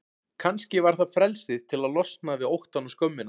Kannski var það frelsið til að losna við óttann og skömmina.